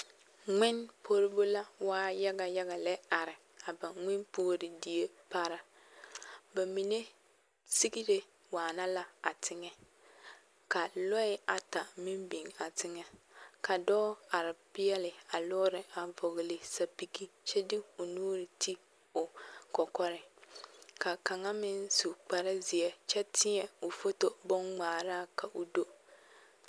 Ŋmene puoribo la waa yaɡeyaɡe lɛ a are ŋmene puori die pare ba mine siɡre waana la a teŋɛ ka lɔɛ ata meŋ biŋ a teŋɛ ka dɔɔ are peɛle a lɔɔre a vɔɔle sapiɡi kyɛ de o nuuri te o kɔkɔreŋ ka kaŋa meŋ su kparzeɛ kyɛ tēɛ o foto bonŋmaaraa ka o do.